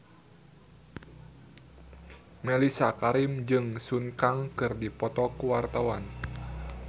Mellisa Karim jeung Sun Kang keur dipoto ku wartawan